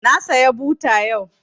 Na saya buta yau